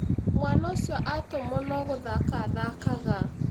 Mwana ũcio atũmwo no gũthaka athakaga